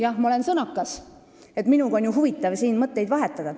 Jah, ma olen sõnakas, minuga on ju huvitav siin mõtteid vahetada.